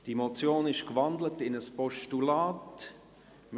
Die Motion wurde in ein Postulat gewandelt.